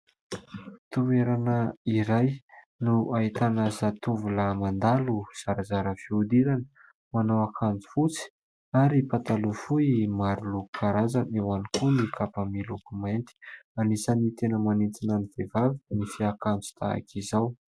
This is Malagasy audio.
Toerana iray no ahitana zatovolahy mandalo, zarazara fiodirana, manao akanjo fotsy ary pataloha fohy maroloko karazana, eo ihany koa ny kapa miloko mainty. Anisany tena manintona ny vehivavy ny fiakanjo tahaka izao.